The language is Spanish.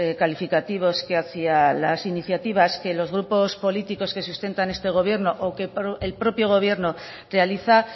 calificativos que hacia las iniciativas que los grupos políticos que sustentan este gobierno o que el propio gobierno realiza